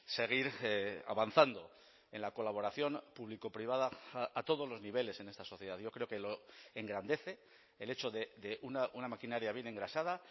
seguir avanzando en la colaboración público privada a todos los niveles en esta sociedad yo creo que lo engrandece el hecho de una maquinaria bien engrasada